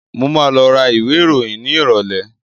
Mo máa lọ ra ìwé ìròyìn ní ìrọ̀lẹ́.